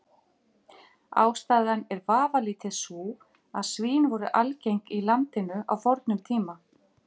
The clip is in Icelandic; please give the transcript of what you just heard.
Ástæðan er vafalítið sú að svín voru algeng í landinu á fornum tíma.